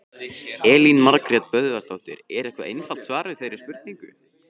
Elín Margrét Böðvarsdóttir: Er eitthvað einfalt svar við þeirri spurningu?